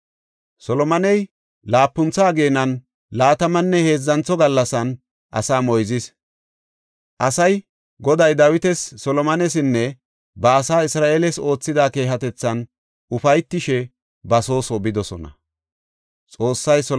Solomoney laapuntha ageenan, laatamanne heedzantho gallasan asaa moyzis. Asay, Goday Dawitas, Solomonesinne ba asaa Isra7eeles oothida keehatethan ufaytishe ba soo soo bidosona.